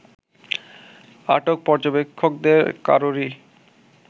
আটক পর্যবেক্ষকদের কারোরই